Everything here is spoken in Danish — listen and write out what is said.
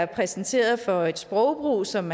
præsenteret for et sprogbrug som